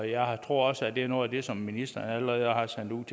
jeg tror også at det er noget af det som ministeren allerede har sendt